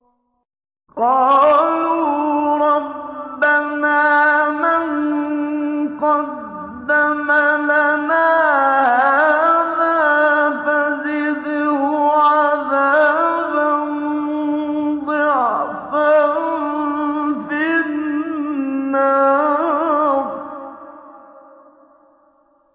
قَالُوا رَبَّنَا مَن قَدَّمَ لَنَا هَٰذَا فَزِدْهُ عَذَابًا ضِعْفًا فِي النَّارِ